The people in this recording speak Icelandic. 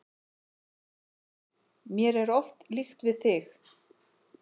Mér er oft líkt við þig.